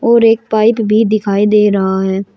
और एक पाइप भी दिखाई दे रहा है।